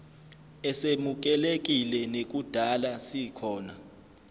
esemukelekile nekudala sikhona